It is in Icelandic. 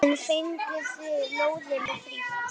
En fenguð þið lóðina frítt?